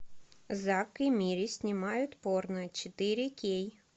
зак и мири снимают порно четыре кей